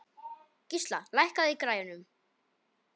Gísla, lækkaðu í græjunum.